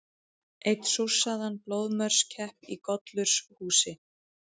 Einn súrsaðan blóðmörskepp í gollurshúsi.